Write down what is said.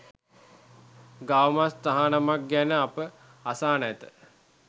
ගවමස් තහනමක් ගැන අප අසා නැත